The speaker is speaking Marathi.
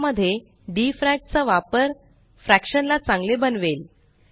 या मध्ये डीफ्रॅक चा वापर फ्रैक्शन ला चांगले बनवेल